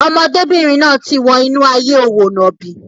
Ọmọdébìnrin náà ti wọ inú ayé òwò nàbì.